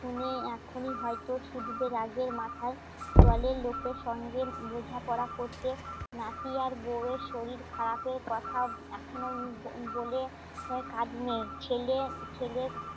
ছেলে এখনই হয়তো ছুটবে রাগের মাথায় দলের লোকের সঙ্গে বোঝাপড়া করতে নাতি আর বউ এর শরীর খারাপের কথা এখনো বলে কাজ নেই ছেলে, ছেলে